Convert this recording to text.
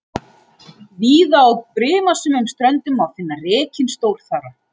Víða á brimasömum ströndum má finna rekinn stórþara.